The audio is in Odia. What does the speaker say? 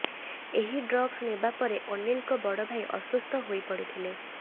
ଏହି ଡ୍ରଗ୍ସ ନେବା ପରେ ଅନୀଲଙ୍କ ବଡଭାଇ ଅସୁସ୍ଥ ହୋଇ ପଡ଼ିଥିଲେ